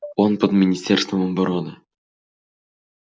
он под министерством обороны